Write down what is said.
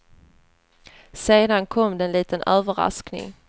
Sedan kom det en liten överraskning.